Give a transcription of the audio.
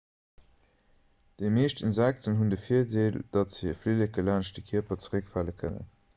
déi meescht insekten hunn de virdeel datt se hir flilleke laanscht de kierper zeréckfale kënnen